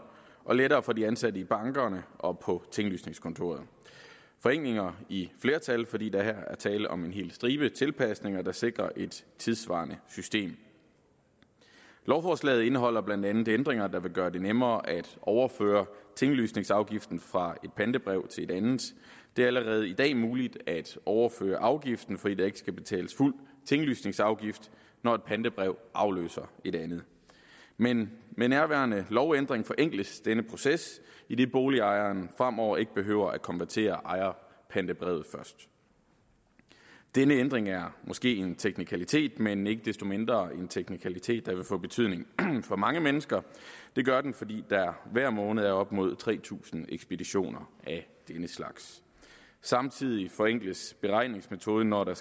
og lettere for de ansatte i bankerne og på tinglysningskontorerne forenklinger i flertal fordi der her er tale om en hel stribe tilpasninger der sikrer et tidssvarende system lovforslaget indeholder blandt andet ændringer der vil gøre det nemmere at overføre tinglysningsafgiften fra ét pantebrev til et andet det er allerede i dag muligt at overføre afgiften fordi der ikke skal betales fuld tinglysningsafgift når ét pantebrev afløser et andet men med nærværende lovændring forenkles denne proces idet boligejeren fremover ikke behøver at konvertere ejerpantebrevet først denne ændring er måske en teknikalitet men ikke desto mindre en teknikalitet der vil få betydning for mange mennesker det gør den fordi der hver måned er op mod tre tusind ekspeditioner af denne slags samtidig forenkles beregningsmetoden når der